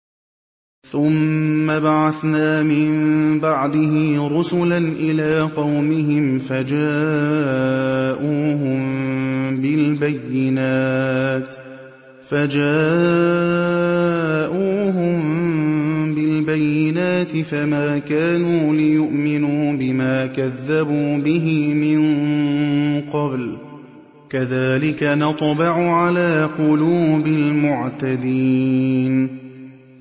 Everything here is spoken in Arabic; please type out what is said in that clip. ثُمَّ بَعَثْنَا مِن بَعْدِهِ رُسُلًا إِلَىٰ قَوْمِهِمْ فَجَاءُوهُم بِالْبَيِّنَاتِ فَمَا كَانُوا لِيُؤْمِنُوا بِمَا كَذَّبُوا بِهِ مِن قَبْلُ ۚ كَذَٰلِكَ نَطْبَعُ عَلَىٰ قُلُوبِ الْمُعْتَدِينَ